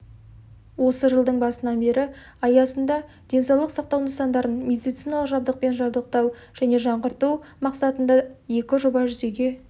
осы жылдың басынан бері аясында денсаулық сақтау нысандарын медициналық жабдықпен жабдықтау және жаңғырту мақсатындаекі жоба жүзеге